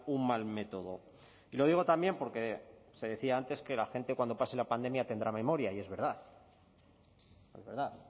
un mal método y lo digo también porque se decía antes que la gente cuando pase la pandemia tendrá memoria y es verdad es verdad